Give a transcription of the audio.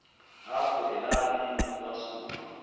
apho elalini kwasuka